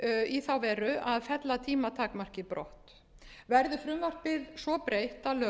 í þá veru að fella tímatakmarkið brott verði frumvarpið svo breytt